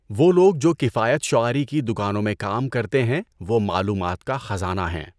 وہ لوگ جو کفایت شعاری کی دکانوں میں کام کرتے ہیں وہ معلومات کا خزانہ ہیں۔